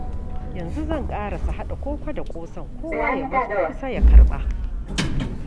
Yanzu zan ƙarasa haɗa koko da ƙosan, kowa ya matso kusa ya karɓa.